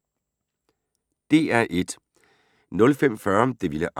DR1